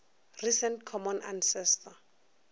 recent common ancestor